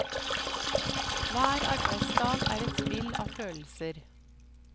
Hver arbeidsdag er et spill av følelser.